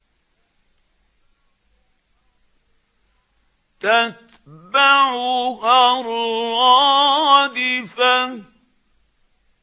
تَتْبَعُهَا الرَّادِفَةُ